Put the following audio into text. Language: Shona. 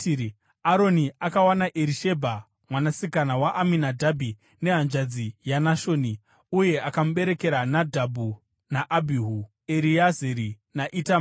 Aroni akawana Erishebha mwanasikana waAminadhabhi nehanzvadzi yaNashoni, uye akamuberekera Nadhabhi naAbhihu, Ereazari naItamari.